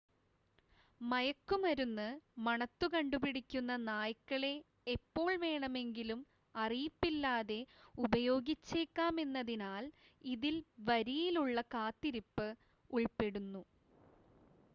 മയക്കുമരുന്ന് മണത്തുകണ്ടുപിടിക്കുന്ന നായ്ക്കളെ എപ്പോൾ വേണമെങ്കിലും അറിയിപ്പില്ലാതെ ഉപയോഗിച്ചേക്കാമെന്നതിനാൽ ഇതിൽ വരിയിലുള്ള കാത്തിരിപ്പ് ഉൾപ്പെടുന്നു